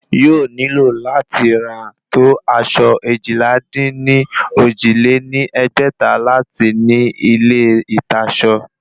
Yóò nílò láti rà tó aṣọ eéjìlá-dín-ní-ojì lé ní ẹgbẹ́ta láti ní ilé ìtasọ